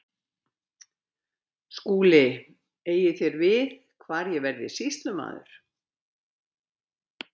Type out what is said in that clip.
SKÚLI: Eigið þér við hvar ég verði sýslumaður?